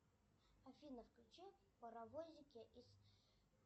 афина включи паровозики из